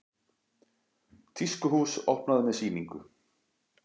Tískuhús opnað með sýningu